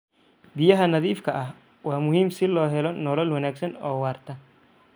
Biyaha nadiifka ah waa muhiim si loo helo nolol wanaagsan oo waarta.